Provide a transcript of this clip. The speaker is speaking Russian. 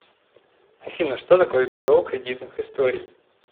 афина что такое бюро кредитных историй